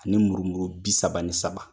Ani murumuru bi saba ni saba